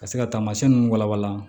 Ka se ka taamasiyɛn nunnu walawala